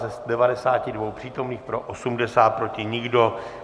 Z 92 přítomných pro 80, proti nikdo.